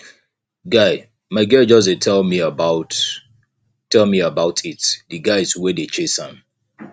guy my girl just dey tell me about tell me about it the guys wey dey chase am